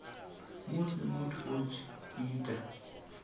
musi muthu a tshi ita